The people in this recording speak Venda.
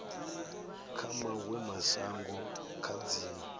kha mawe mashango kha dziwe